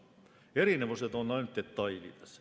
Erinevused on ainult detailides.